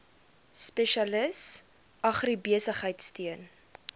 spesialis agribesigheid steun